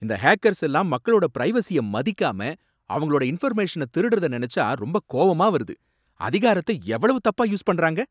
இந்த ஹேக்கர்ஸ் எல்லாம் மக்களோட பிரைவசிய மதிக்காம, அவங்களோட இன்ஃபர்மேஷன திருடறத நினைச்சா ரொம்ப கோவமா வருது. அதிகாரத்தை எவ்வளவு தப்பா யூஸ் பண்றாங்க.